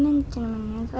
að